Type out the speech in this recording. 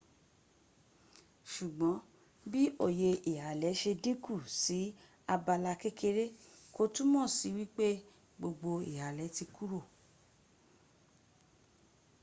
sugbon bi oye ihale se dinku si abala kekere ko tumo si wile gbogbo ihale ti kuro